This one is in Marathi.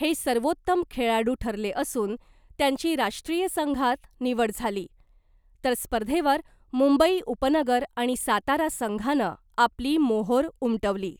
हे सर्वोत्तम खेळाडु ठरले असून त्यांची राष्ट्रीय संघात निवड झाली, तर स्पर्धेवर मुंबई उपनगर आणि सातारा संघानं आपली मोहोर उमटवली .